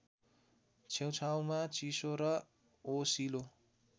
छेउछाउमा चिसो र ओसिलो